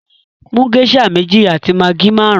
Mú geisha mẹ̀jì àti maggi márùn!